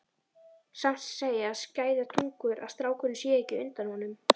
Samt segja skæðar tungur að strákurinn sé ekki undan honum.